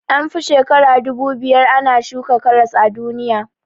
An fi shekara dubu biyar ana shuka karas a duniya